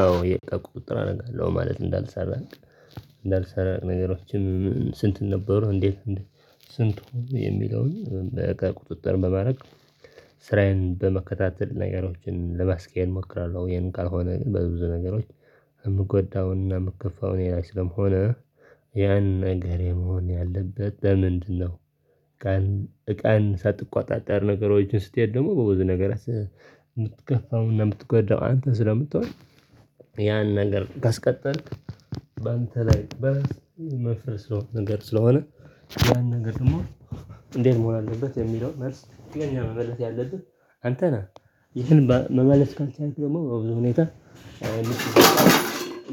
አዎ የቀቁ ቁጥር አደርጋለው ማለት እንዳልሰራ እንዳልሰራ ነገሮችም ስንት ነበሩ እንዴ ስንቱ የሚለውን በቅጥጥር በማድረግ ስራዬን በመከታተል ነገሮችን ለማስኬድ እሞክራለው ይሄን ካልሆነ በብዙ ነገሮች የምጎዳውና የምከፋው እኔ ላይ ስለመሆን ስለምሆነ ያን ነገር የመሆን ያለበት ለምንድነው? ቀን እቃን ሳትቆጣጠር ነገሮችን ስትሄድ ደግሞ በብዙ ነገር የምትከፋውና የምትጎዳው አንተ ስለምትሆን ያን ነገር ካስቀጠልክ በአንተ ላይ በመፍረድ ስለሆነ ነገር ስለሆነ ያን ነገር ደግሞ እንዴት መሆን አለበት የሚለውን መልስ ለኛ መመልስ ያለብን አንተ ነህ ይህን መመለስ ካንተ ደግሞ በብዙ ሁኔታ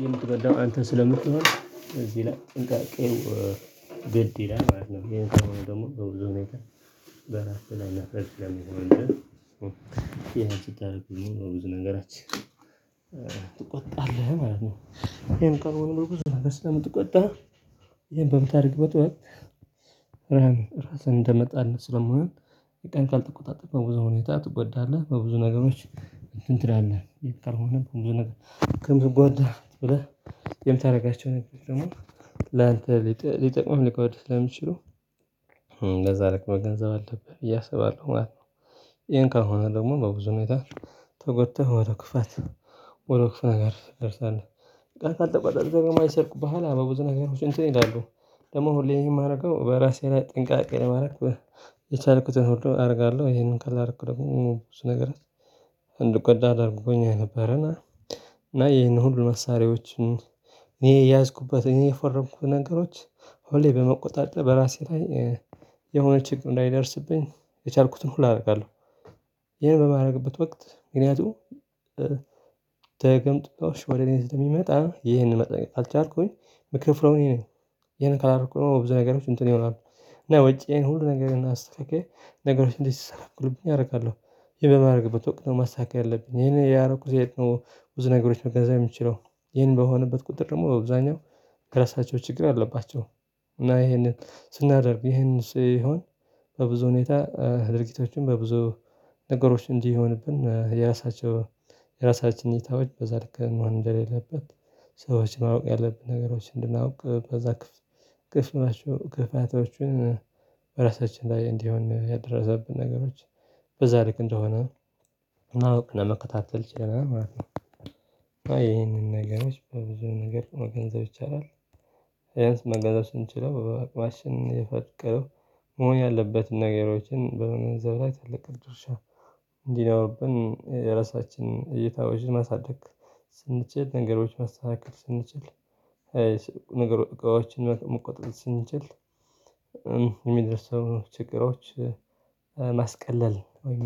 የምትበዳው አንተ ስለምትሆን በዚህ ላይ ጥንቃቄ ግድ ይላል ማለት ነው። ይሄን ተማሪ ደግሞ በብዙ ሁኔታ በራሱ ላይ ላፍረሽ ላይ የሚሆን ነገር ይሄን ችግር ብዙ ነገራችን ትቆጣለህ ማለት ነው ይሄን ቀርቦ ነው ብዙ መቼ ስለምትቆጣ ይሄን በምታደርግበት ወይ ራስህን እንደመጣህ ስለማይሆን ይጠንቃል ትቆጣጥም በብዙ ሁኔታ ትጎዳለህ በብዙ ነገሮች እንትን ትላለህ የት ቀርቦህ በብዙ ነገር ከብዙ ጓዳህ ብለህ የምታደርጋቸውን ደግሞ ላንተ ሊጠቅመው ሊቆይ ለሚችሉ ለዛ ልክ መገንዘብ አለብህ እያሰባለሁ ማለት ነው። ይሄን ከሆነ ደግሞ በብዙ መታ ተጎድተህ ወደ ክፋት ወደ ክፍለ ነገር ደርሷል እቃ አልተቆጠረም አይሰርቁብህም በብዙ ነገር ሁሉ ይላሉ ደግሞ ሁሌም የማደርገው በራሴ ላይ ጥንቃቄ ማድረግ የቻልኩትን ወዶ አደርጋለው ይሄንን ካላደረኩት ብዙ ነገር አለ ደርጎኛል ነበረና እና ይሄን ሁሉ መሳሪያዎችን ይሄ የያዝኩበት እኔ የፈረንኩት ነገሮች ሁሌ በመቆጣጠር በራሴ ላይ የሆነ ጭንቅ ላይደርስብኝ የቻልኩትን ሁሉ አደርጋለሁ ይሄን በማድረግበት ወቅት ምክንያቱም ተቀምጦ ወደ እኔ ስትል የሚመጣ ይሄንን መጠቀም አልቻልኩኝ ምክር ፍሎኔ ነኝ ይሄንን ካላረኩኝ ብዙ ነገሮች እንትን ይሆናሉ እና ወጪዬን ሁሉ ነገር ግን አስተካኬ ነገሮች እንዴት ሲሰራ አደርጋለሁ ይሄ በማድረግበት ወቅት ነው ማሳካት ያለብኝ ይሄን ያረኩት ሴት ነው ብዙ ነገሮች መገንዘብ የምችለው ይሄን በሆነበት ቁጥር ደግሞ በብዛኛው ከራሳቸው ችግር አለባቸው እና ይሄንን ስናደርግ ይሄንን ሲሆን በብዙ ሁኔታ ድርጊቶችን በብዙ ነገሮች እንዲህ ይሆንብን የራሳቸው የራሳችን እይታዎች በዛ ልክ መሆን እንደሌለበት ሰዎችን ማወቅ ያለብን ነገሮች እንድናውቅ በዛ ክፍል ክፍተቶቹን በራሳችን ላይ እንዲሆን ያደረሰብን ነገሮች በዛ ልክ እንደሆነ ማወቅ ለመከታተል ችለናል ማለት ነው። ነው ይሄንን ነገሮች በብዙ ነገር መገንዘብ ይቻላል። ያንስ መገዛት ስንችለው በቅማሽን የፈቀደው መሆን ያለበትን ነገሮችን በመመዘብ ላይ ተለቀቅ ድርሻ እንዲህ ነው። የራሳችንን እይታ ወዥን ማሳደግ ስንችል ነገሮች መስተካከል ስንችል ነገሮችን መቆጣጠር ስንችል የሚደርሰው ችግሮች ማስቀለል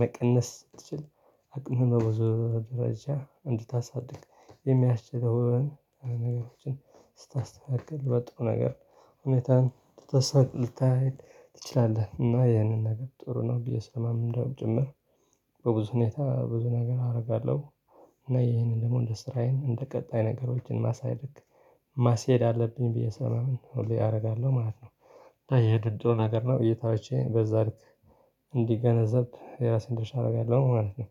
መቀነስ ትችላለህ አቅምህ በብዙ ደረጃ እንድታሳድግ የሚያስችለውን ነገሮችን ስታስተካክል በጣም በጥሩ ነገር ሁኔታን ተተሳቅ ልታይ ትችላለህ እና ይህንን ነገር ጥሩ ነው ብዬ ስለማምን እንደውም ጭምር በብዙ ሁኔታ ብዙ ነገር አደርጋለሁ እና ይሄንን ደግሞ እንደ ስራዬ እንደ ቀጣይ ነገሮችን ማሳየት ማስሄድ አለብኝ ብዬ ሰማምን ሁሌ አደርጋለሁ ማለት ነው የድድሩ ነገር ነው እይታዎቼን በዛልክ እንዲገነዘብ የራሴን ድርሻ አደርጋለሁ ማለት ነው።